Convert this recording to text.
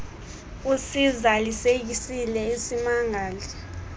usiza lisekisile isimangali